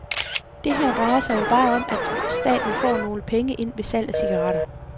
Det her drejer sig jo bare om, at staten får nogle penge ind ved salg af cigaretter.